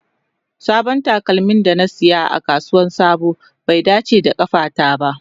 Sabon takalmin da na saya a kasuwar sabo bai dace da kafata ba.